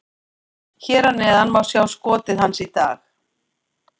Hér að neðan má sjá skotið hans í dag: